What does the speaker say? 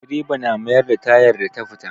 Direba na mayar da tayar da ta fita.